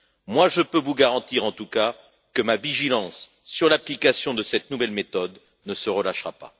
Moi, je peux vous garantir, en tout cas, que ma vigilance sur l'application de cette nouvelle méthode ne se relâchera pas.